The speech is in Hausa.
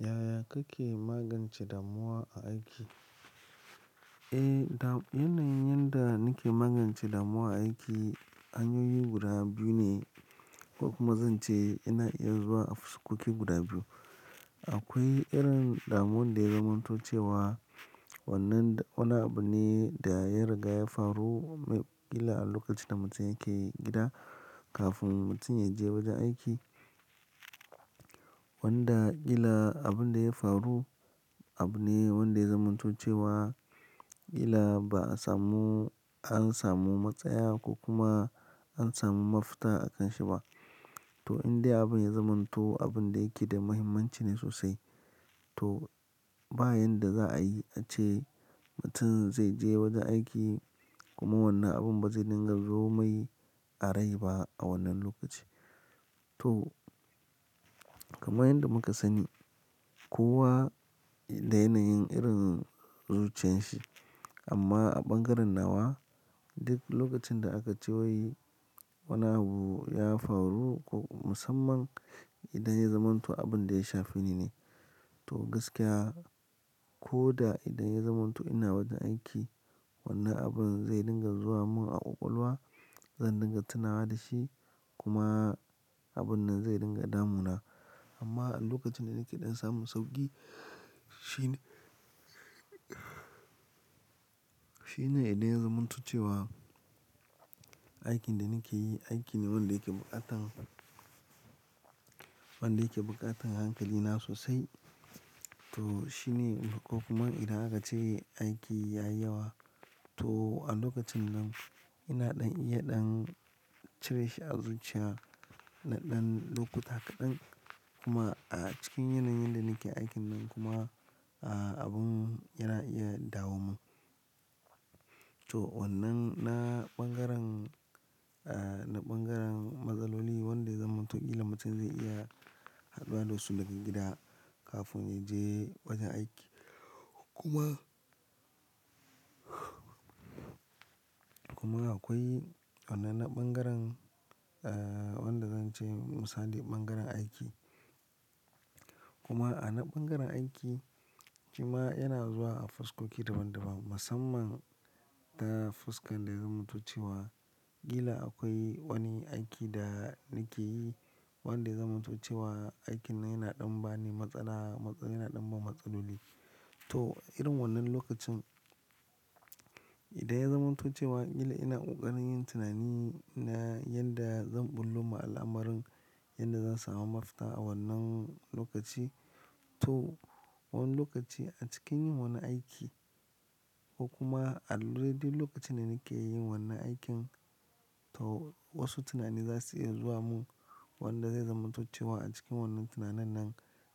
Yaya kake magance damuwa a aiki? Eh, yanayin yanda nake magance damuwa a aiki hanyoyi guda biyu ne ko kuma zan ce yana iya zuwa a fuskoki guda biyu. Akwai irin damuwar da ya zamanto cewa wannan, wani abu ne da ya riga ya faru kila a lokacin mutum yake gida kafin mutumin ya je wajen aiki. Wanda kila abun da ya faru abu ne wanda ya zamanto cewa kila ba a samu, an samu matsaya ko kuma an samu mafita akan shi ba. To, in dai abun ya zamanto abun da yake da muhimmanci ne sosai. To, ba yan da za'ayi ace mutum zai je wajen aiki kuma wannan abun ba zai dinga zo mai a rai ba a wannan lokaci. To, kamar yadda muka sani kowa da yanayin irin zuciyan shi amma a bangaren nawa duk lokacin da aka ce yi wani abu ya faru ko musamman idan ya zamanto abun da ya shafi ni ne. To, gaskiya ko da idan ya zamanto ina wajen aiki wannan abun zai dinga zuwa mun a ƙwaƙwalwa, zan dinga tunawa da shi kuma abun nan zai dinga damu na. Amma a lokacin da nake ɗan samun sauƙi shine, shine idan ya zamanto cewa aikin da nake yi aiki ne wanda yake buƙatar, wanda yake buƙatar hankali na sosai. To, shine ko kuma idan aka ce aiki ya yi yawa to a lokacin nan ina ɗan iya ɗan cire shi a zuciya na ɗan lokuta kaɗan kuma a cikin yanayin da nake aikin nan kuma, ah, abun yana iya dawo mun. To, wannan na bangaren, ah, na bangaren matsaloli wanda ya zamanto kila mutum zai iya haduwa da su daga gida kafin ya je wajen aiki. Kuma, kuma akwai wannan na bangaren, ah, wanda zan ce musali bangaren aiki. Kuma a na bangaren aiki shima yana zuwa a fuskoki daban-daban musamman ta fuskan da ya zamanto cewa kila akwai wani aiki da nake yi wanda ya zamanto cewa aikin nan yana ɗan ba ni matsala, yana ɗan ban matsaloli. To, irin wannan lokacin idan ya zamanto cewa kila ina ƙoƙarin yin tunanin na yanda zan ɓullo ma al'amarin yanda zan samu mafita a wannan lokaci. To, wani lokaci a cikin yin wani aiki ko kuma adaidai lokacin da nake yin wannan aikin to wasu tunani za su iya zuwa mun wanda zai zamanto cewa a cikin wannan tunanin nan